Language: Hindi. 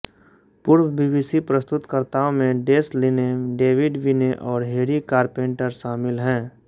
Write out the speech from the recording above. पूर्व बीबीसी प्रस्तुतकर्ताओं में डेस लिनेम डेविड विने और हेरी कारपेंटर शामिल हैं